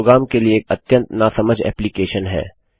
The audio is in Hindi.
यह प्रोग्राम के लिए एक अत्यंत नासमझ एप्लीकेशन है